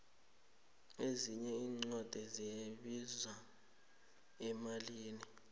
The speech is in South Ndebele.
ezinye incwadi ziyabiza emalini